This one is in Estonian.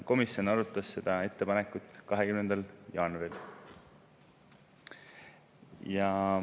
Komisjon arutas seda ettepanekut 20. jaanuaril.